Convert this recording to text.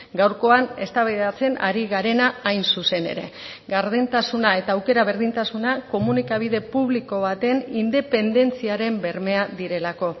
gaurkoan eztabaidatzen ari garena hain zuzen ere gardentasuna eta aukera berdintasuna komunikabide publiko baten independentziaren bermea direlako